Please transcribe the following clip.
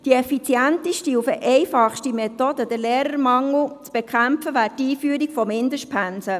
«Die effizienteste und einfachste Methode, den Lehrermangel zu bekämpfen, wäre die Einführung von Mindestpensen.